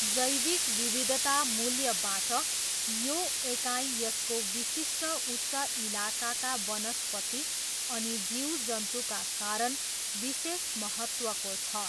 जैविक विविधता मूल्यबाट, यो एकाइ यसको विशिष्ट उच्च इलाकाका वनस्पति अनि जीवजन्तुका कारण विशेष महत्त्वको छ।